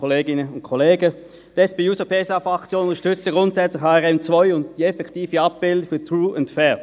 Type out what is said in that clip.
Die SP-JUSO-PSA-Fraktion unterstützt grundsätzlich HRM2 und die effektive Abbildung von «True and Fair».